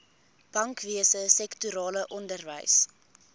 bankwese sektorale onderwys